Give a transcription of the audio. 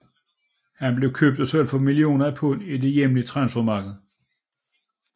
Han blev købt og solgt for millioner af pund i det hjemlige transfermarket